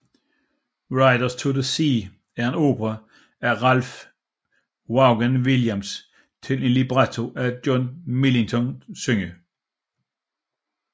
Riders to the Sea er en opera af Ralph Vaughan Williams til en libretto af John Millington Synge